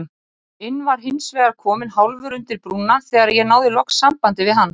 inn var hinsvegar kominn hálfur undir brúna þegar ég náði loks sambandi við hann.